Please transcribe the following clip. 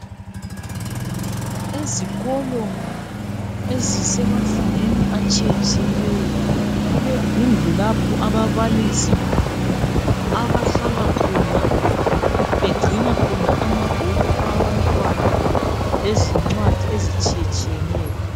Ezikolo ezisemazingeni atshiye tshiyeneyo kulezindlu lapho ababalisi abahlala khona begcina khona amabhuku abantwana lezincwadi ezitshiye tshiyeneyo.